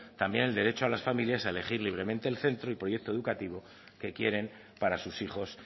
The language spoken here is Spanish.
también el derecho a las familias a elegir libremente el centro y proyecto educativo que quieren para sus hijos